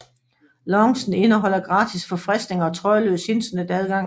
Loungen indeholder gratis forfriskninger og trådløs internetadgang